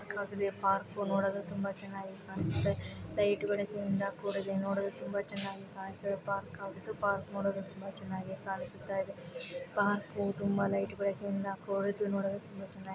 Park ಉ ನೋಡಲು ತುಂಬಾನು ಚನ್ನಾಗಿ ಕಾಣ್ಸುತ್ತೆ. ಲೈಟ್ ಗಳು ಇಂದ ಕೂಡಲೇ ನೋಡಲು ತುಂಬಾ ಚನ್ನಾಗಿ ಕಾನ್ಸು. ಪಾರ್ಕ್ ಉ. ಪಾರ್ಕ್ ನೋಡಲು ತುಂಬಾ ಚನ್ನಾಗಿ ಕಾಣಿಸುತ್ತಾಯಿದೆ. ಪಾರ್ಕ್ ಉ ತುಂಬಾ ಲೈಟ್ ಬೆಳಕಿಂದ ಕೂಡಿದ್ದು ನೋಡಲು ತುಂಬಾ ಚೆನ್ನಾಗಿ --